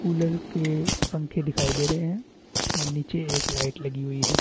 Cooler के पंखे दिखाई दे रहे है और नीचे एक लाइट लगी हुई है।